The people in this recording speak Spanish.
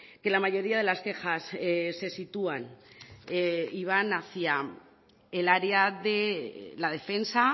que la mayoría de las quejas se sitúan y van hacia el área de la defensa